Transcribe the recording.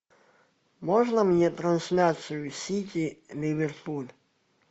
можно мне трансляцию сити ливерпуль